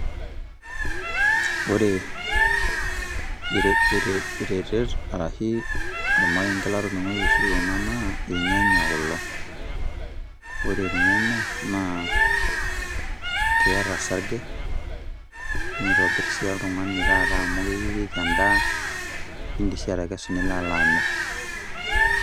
Ore ire ire iretet arashu ormarenge laatoningo iusu ena naa irnyanya kulo. Ore irnayanya naa keeta osarge neitobir si oltungani amu eyiereiki edaa nilo ai alo amir.